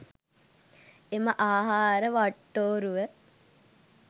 එම ආහාර වට්ටෝරුව